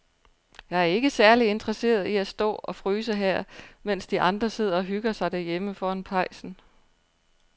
Jeg er ikke særlig interesseret i at stå og fryse her, mens de andre sidder og hygger sig derhjemme foran pejsen.